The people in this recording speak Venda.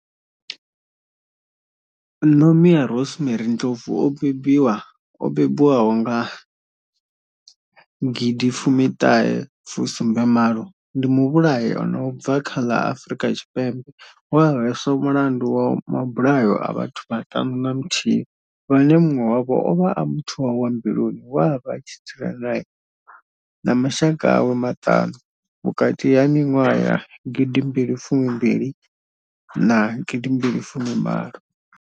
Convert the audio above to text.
Nomia Rosemary Ndlovu o bebiwaho nga gidi fumi thahe fu sumbe malo, ndi muvhulahi a no bva kha ḽa Afurika Tshipembe we a hweswa mulandu wa mabulayo a vhathu vhaṱanu na muthihi vhane munwe wavho ovha a muthu wawe wa mbiluni we avha a tshi dzula nae na mashaka awe maṱanu, vhukati ha minwaha ya gidi mbili fumi mbili na gidi mbili fumi malo.